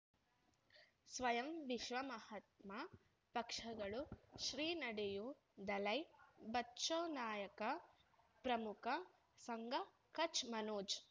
ಸ್ವಯಂ ವಿಶ್ವ ಮಹಾತ್ಮ ಪಕ್ಷಗಳು ಶ್ರೀ ನಡೆಯೂ ದಲೈ ಬಚೌ ನಾಯಕ ಪ್ರಮುಖ ಸಂಘ ಕಚ್ ಮನೋಜ್